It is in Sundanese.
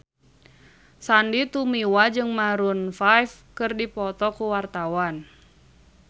Sandy Tumiwa jeung Maroon 5 keur dipoto ku wartawan